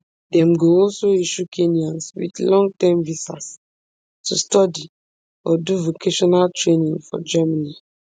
dem go also issue kenyans wit longterm visas to study or do vocational training for germany